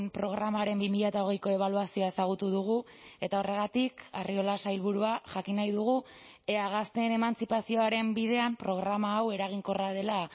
programaren bi mila hogeiko ebaluazioa ezagutu dugu eta horregatik arriola sailburua jakin nahi dugu ea gazteen emantzipazioaren bidean programa hau eraginkorra dela